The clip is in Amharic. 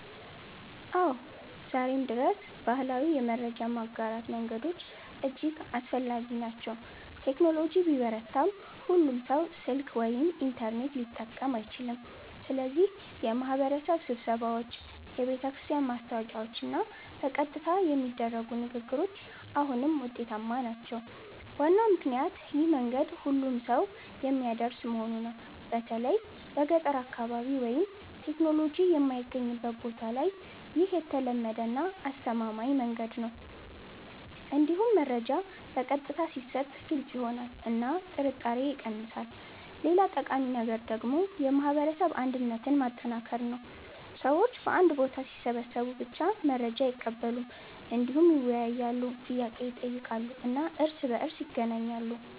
አዎ፣ ዛሬም ድረስ ባህላዊ የመረጃ ማጋራት መንገዶች እጅግ አስፈላጊ ናቸው። ቴክኖሎጂ ቢበረታም ሁሉም ሰው ስልክ ወይም ኢንተርኔት ሊጠቀም አይችልም፣ ስለዚህ የማህበረሰብ ስብሰባዎች፣ የቤተክርስቲያን ማስታወቂያዎች እና በቀጥታ የሚደረጉ ንግግሮች አሁንም ውጤታማ ናቸው። ዋናው ምክንያት ይህ መንገድ ሁሉንም ሰው የሚያደርስ መሆኑ ነው። በተለይ በገጠር አካባቢ ወይም ቴክኖሎጂ የማይገኝበት ቦታ ላይ ይህ የተለመደ እና አስተማማኝ መንገድ ነው። እንዲሁም መረጃ በቀጥታ ሲሰጥ ግልጽ ይሆናል እና ጥርጣሬ ይቀንሳል። ሌላ ጠቃሚ ነገር ደግሞ የማህበረሰብ አንድነትን ማጠናከር ነው። ሰዎች በአንድ ቦታ ሲሰበሰቡ ብቻ መረጃ አይቀበሉም፣ እንዲሁም ይወያያሉ፣ ጥያቄ ይጠይቃሉ እና እርስ በእርስ ይገናኛሉ።